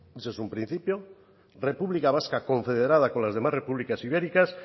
ese es un principio república vasca confederada con las demás repúblicas ibéricas